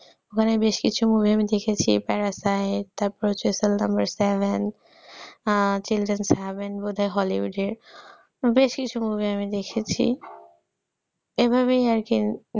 ওখানে বেশ কিছু movie আমি দেখেছি parasite তারপরে হচ্ছে seldomia seven children heaven বোধহয় hollywood এর বেশ কিছু movie আমি দেখেছি, এভাবেই আর কি